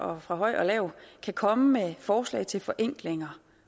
og fra høj og lav kan komme med forslag til forenklinger